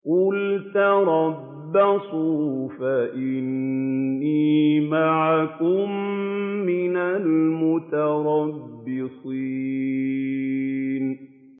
قُلْ تَرَبَّصُوا فَإِنِّي مَعَكُم مِّنَ الْمُتَرَبِّصِينَ